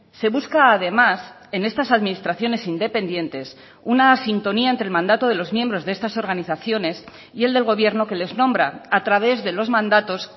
se busca además en estas administraciones independientes una sintonía entre el mandato de los miembros de estas organizaciones y el del gobierno que les nombra a través de los mandatos